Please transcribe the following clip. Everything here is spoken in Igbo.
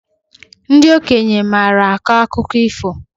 Ndị okenye maara akọ akụkọ ifo